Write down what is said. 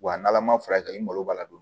Wa n'ala ma furakɛ i mago b'a la don